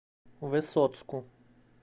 высоцку